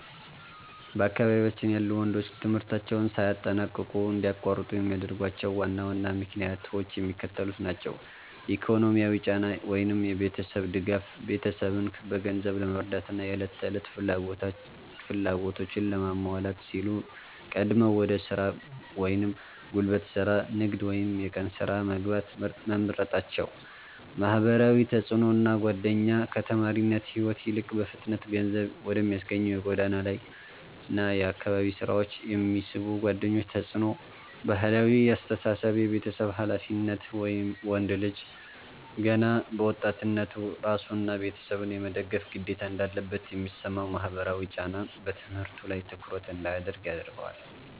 በአካባቢያችን ያሉ ወንዶች ትምህርታቸውን ሳያጠናቅቁ እንዲያቋርጡ የሚያደርጓቸው ዋና ዋና ምክንያቶች የሚከተሉት ናቸው፦ ኢኮኖሚያዊ ጫና (የቤተሰብ ድጋፍ)፦ ቤተሰብን በገንዘብ ለመርዳትና የዕለት ተዕለት ፍላጎቶችን ለማሟላት ሲሉ ቀድመው ወደ ሥራ (ጉልበት ሥራ፣ ንግድ ወይም የቀን ሥራ) መግባት መምረጣቸው። ማህበራዊ ተጽዕኖና ጓደኛ፦ ከተማሪነት ሕይወት ይልቅ በፍጥነት ገንዘብ ወደሚያስገኙ የጎዳና ላይና የአካባቢ ሥራዎች የሚስቡ ጓደኞች ተጽዕኖ። ባህላዊ አስተሳሰብ (የቤተሰብ ኃላፊነት)፦ ወንድ ልጅ ገና በወጣትነቱ ራሱንና ቤተሰቡን የመደገፍ ግዴታ እንዳለበት የሚሰማው ማህበራዊ ጫና በትምህርቱ ላይ ትኩረት እንዳያደርግ ያደርገዋል።